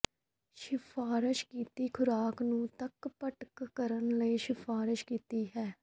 ਸਿਫਾਰਸ਼ ਕੀਤੀ ਖੁਰਾਕ ਨੂੰ ਤੱਕ ਭਟਕ ਕਰਨ ਲਈ ਸਿਫਾਰਸ਼ ਕੀਤੀ ਹੈ